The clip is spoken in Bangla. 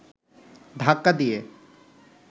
ধাক্কা দিয়ে